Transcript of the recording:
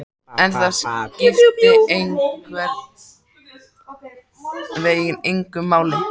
En það skipti einhvern veginn engu máli.